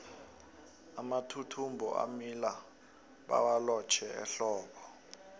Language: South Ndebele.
amathuthumbo amila bawalotjhe ehlobo